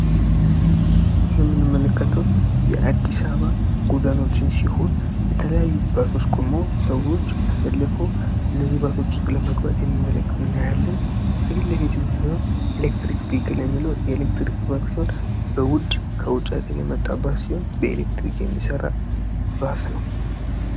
ይህ የምንመለከተው የአዲስ አበባ ጎዳናዎችን ሲሆን የተለያዩ ባሶችን ቁመው ሰዎች ተሰልፈው እነዚህ ባሶች ውስጥ ለመግባት እናያለን እነዚህ የምናየው ኤሌክትሪክ ባይክል የሚል የኤሌክትሪክ ባስ ሲሆን ከውጪ ሀገር የመጣ ሲሆን በኤሌክትሪክ የሚሰራ ባስ ነው።